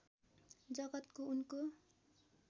जगतको उनको